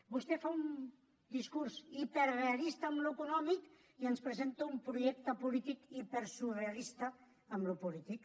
vostè fa un discurs hiperrealista en l’econòmic i ens presenta un projecte polític hipersurrealista en el polític